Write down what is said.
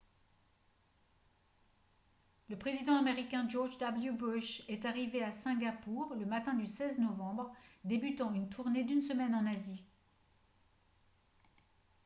le président américain george w bush est arrivé à singapour le matin du 16 novembre débutant une tournée d'une semaine en asie